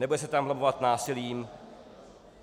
Nebude se tam vlamovat násilím.